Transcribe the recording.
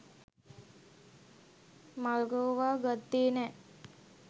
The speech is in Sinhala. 'මල්ගෝවා' ගත්තේ නෑ